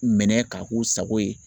Minɛ k'a k'u sago ye